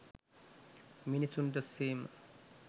මිනිසුන්ට සේම